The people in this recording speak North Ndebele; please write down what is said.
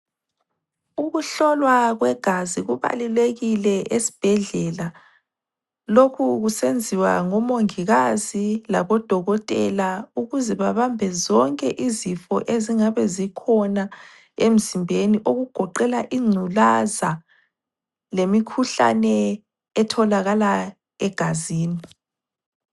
Ukuhlolwa kwegazi kubalulekile esibhedlela lokhu kusenziwa ngomongikazi labo Dokotela ukuze babambe zonke izifo ezingabe zikhona emzimbeni okugoqela ingculaza lemikhuhlane etholaka egazini